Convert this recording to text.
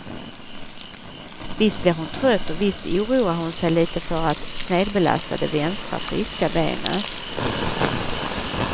Visst blir hon trött och visst oroar hon sig lite för att snedbelasta det vänstra, friska benet.